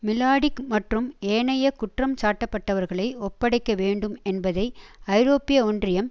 Mladic மற்றும் ஏனைய குற்றம் சாட்டப்பட்டவர்களை ஒப்படைக்க வேண்டும் என்பதை ஐரோப்பிய ஒன்றியம்